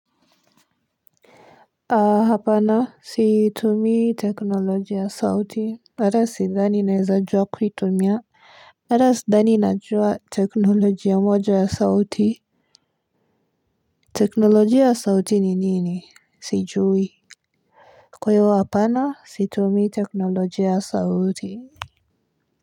Hapana situmii teknolojia ya sauti ata sidhani naweza jua kuitumia, hata sidhani najua teknolojia moja ya sauti. Teknolojia ya sauti ni nini? Sijui. Kwa hiyo hapana situmii teknolojia ya sauti.